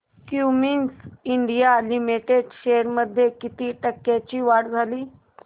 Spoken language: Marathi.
क्युमिंस इंडिया लिमिटेड शेअर्स मध्ये किती टक्क्यांची वाढ झाली